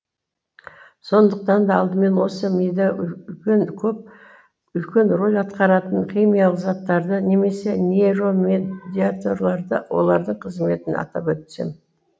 сондықтан да алдымен осы мида үлкен рөл атқаратын химиялық заттарды немесе нейромедиаторларды олардың қызметін атап өтсем